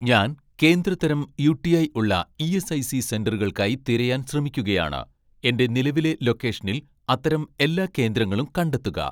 ഞാൻ കേന്ദ്ര തരം യു.ടി.ഐ ഉള്ള ഇ.എസ്.ഐ.സി സെന്ററുകൾക്കായി തിരയാൻ ശ്രമിക്കുകയാണ്, എന്റെ നിലവിലെ ലൊക്കേഷനിൽ അത്തരം എല്ലാ കേന്ദ്രങ്ങളും കണ്ടെത്തുക